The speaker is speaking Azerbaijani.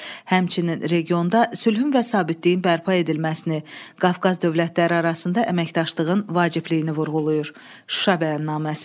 Həmçinin regionda sülhün və sabitliyin bərpa edilməsini, Qafqaz dövlətləri arasında əməkdaşlığın vacibliyini vurğulayır Şuşa bəyannaməsi.